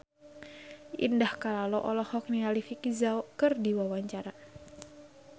Indah Kalalo olohok ningali Vicki Zao keur diwawancara